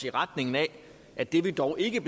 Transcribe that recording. i retning af at det vi dog ikke